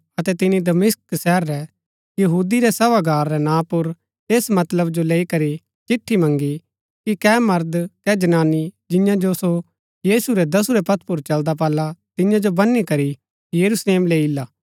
अतै तिनी दमिश्क शहर रै यहूदी रै सभागार रै नां पुर ऐस मतलब जो लैई करी चिट्ठी मँगी कि कै मर्द कै जनानी जिंआं जो सो यीशु रै दसुरै पंथ पुर चलदा पाला तियां जो बनी करी यरूशलेम लेई ईला